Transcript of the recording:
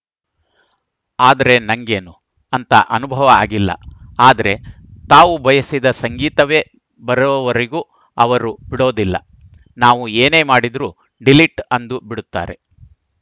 ಆದ್ರೆ ನಂಗೇನು ಅಂತ ಅನುಭವ ಆಗಿಲ್ಲ ಆದ್ರೆ ತಾವು ಬಯಸಿದ ಸಂಗೀತವೇ ಬರೋವರೆಗೂ ಅವರು ಬಿಡೋದಿಲ್ಲ ನಾವು ಏನೇ ಮಾಡಿದ್ರು ಡಿಲೀಟ್‌ ಅಂದು ಬಿಡುತ್ತಾರೆ